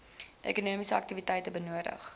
ekonomiese aktiwiteite benodig